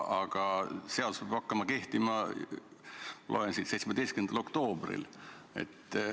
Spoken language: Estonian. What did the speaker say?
Aga seadus peab hakkama kehtima, loen siit, 17. oktoobril.